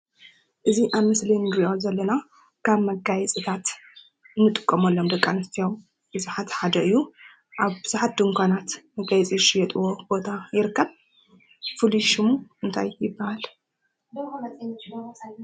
እዚ አብ ምስሊ እንሪኦ ዘለና ከም መጋየፅታት እንጥቀመሎም ደቂ አንስትዮ እቲ ሓደ እዩ ። አብ ቡዙሓት ድንኳናት ዝሽጥዎ መጋየፂ ቦታ ይርከብ ፍሉይ ሽሙ እንታይ ይበሃል?